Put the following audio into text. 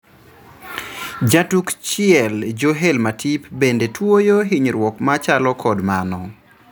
Jatuk chiel Joel Matip bende tuoyo hinyruok machalo kod mano.